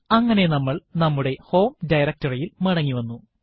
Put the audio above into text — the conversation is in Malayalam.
അങ്ങനെ നമ്മൾ നമ്മുടെ ഹോം directory യിൽ മടങ്ങി വന്നു